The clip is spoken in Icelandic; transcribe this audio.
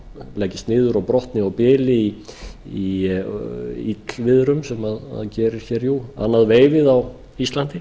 leggist niður og brotni og bili í illviðrum sem gerist annað veifið á íslandi